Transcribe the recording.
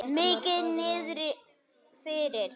Mikið niðri fyrir.